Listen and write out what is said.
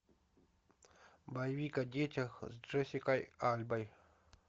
боевик о детях с джессикой альбой